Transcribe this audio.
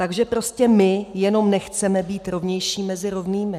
Takže prostě my jenom nechceme být rovnější mezi rovnými."